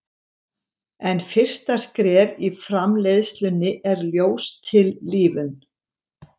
En fyrsta skref í framleiðslunni er ljóstillífun.